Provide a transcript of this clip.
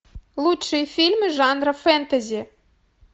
лучшие фильмы жанра фэнтези